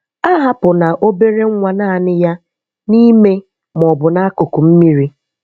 Ahàpụ̀ná obere nwa naanị ya n’ime ma ọ bụ n’akụkụ mmiri.